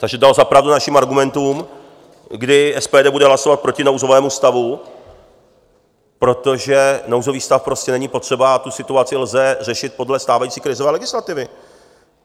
Takže dal za pravdu našim argumentům, kdy SPD bude hlasovat proti nouzovému stavu, protože nouzový stav prostě není potřeba a tu situaci lze řešit podle stávající krizové legislativy.